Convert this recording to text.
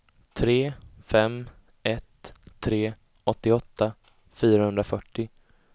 tre fem ett tre åttioåtta fyrahundrafyrtio